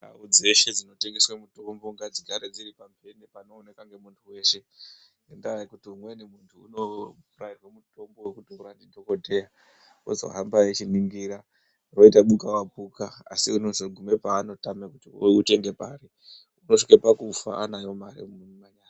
Ndau dzeshe dzinotengeswe mitombo ngadzigare dziri pamhene panooneka nemuntu weshe ,ngendaa yekuti umweni muntu unorairwe mutombo wekutora ndidhokodheya wozohamba eichiningira, woita buka wapuka asi unozogume paanotame kuti outenge pari, unosvike pakufa anayo mare mumanyara.